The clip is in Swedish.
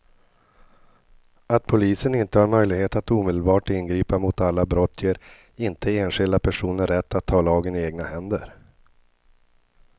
Att polisen inte har möjlighet att omedelbart ingripa mot alla brott ger inte enskilda personer rätt att ta lagen i egna händer.